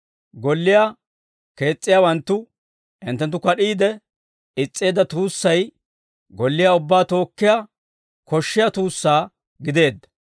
Golliyaa kees's'iyaawanttu hinttenttu kad'iide is's'eedda tuussay golliyaa ubbaa tookkiyaa koshshiyaa tuussaa gideedda.